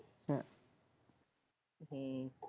ਹੁ ਹਮ